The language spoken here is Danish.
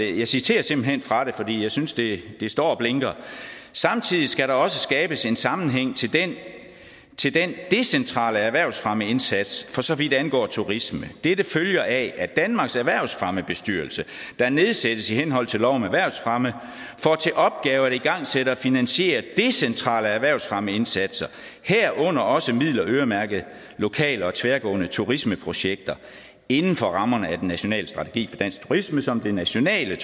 jeg citerer simpelt hen fra det for jeg synes det står og blinker samtidig skal der også skabes en sammenhæng til den decentrale erhvervsfremmeindsats for så vidt angår turisme dette følger af at danmarks erhvervsfremmebestyrelse der nedsættes i henhold til lov om erhvervsfremme får til opgave at igangsætte og finansiere decentrale erhvervsfremmeindsatser herunder også midler øremærket lokale og tværgående turismeprojekter inden for rammerne af den nationale strategi for dansk turisme som det nationale